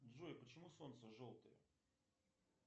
джой почему солнце желтое